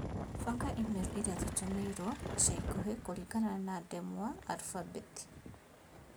banga i-mīrū irĩa tũtũmĩirũo icaikuhĩ kũringana na ndemwa alfabeti